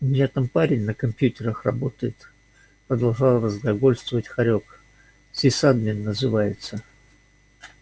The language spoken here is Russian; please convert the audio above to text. у меня там парень на компьютерах работает продолжал разглагольствовать хорёк сисадмин называется